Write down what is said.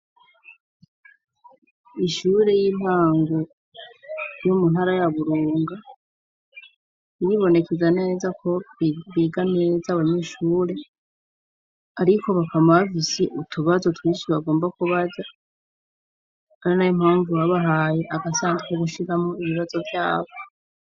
Ishure y'intango, yo mu ntara ya burunga, iribonekeza neza ko biga neza abanyeshure ariko bakama bafise utubazo twinshi bagomba kubaza. Ari nayo impamvu babahaye agasandugu ko gushiramwo ibibazo vyabo.